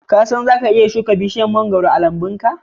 Ka san zaka iya shuka bishiyar mangoro a lambunka?